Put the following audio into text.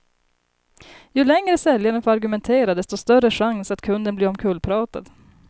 Ju längre säljaren får argumentera, desto större chans att kunden blir omkullpratad.